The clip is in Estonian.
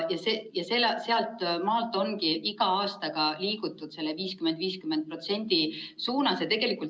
Sealt ongi iga aastaga liigutud selle 50 : 50 suunas.